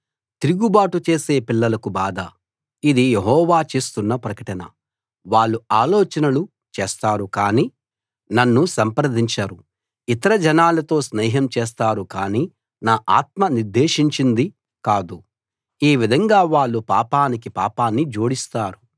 తిరుగుబాటు చేసే పిల్లలకు బాధ ఇది యెహోవా చేస్తున్న ప్రకటన వాళ్ళు ఆలోచనలు చేస్తారు కానీ నన్ను సంప్రదించరు ఇతర జనాలతో స్నేహం చేస్తారు కానీ నా ఆత్మ నిర్దేశించింది కాదు ఈ విధంగా వాళ్ళు పాపానికి పాపాన్ని జోడిస్తారు